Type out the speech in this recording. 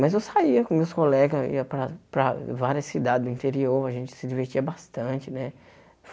Mas eu saía com meus colegas, ia para para várias cidades do interior, a gente se divertia bastante, né?